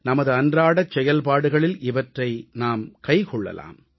நமது அன்றாடச் செயல்பாடுகளில் இவற்றை நாம் கைக்கொள்ளலாம்